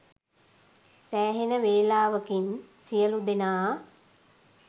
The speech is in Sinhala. සෑහෙන වෙලාවකින් සියලූ දෙනා